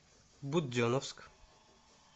буденновск